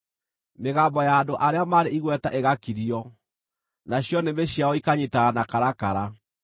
mĩgambo ya andũ arĩa marĩ igweta ĩgakirio, nacio nĩmĩ ciao ikanyiitana na karakara.